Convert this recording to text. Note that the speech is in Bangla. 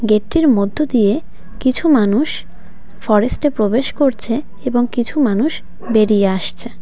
গেটটির মধ্য দিয়ে কিছু মানুষ ফরেস্টে প্রবেশ করছে এবং কিছু মানুষ বেরিয়ে আসছে.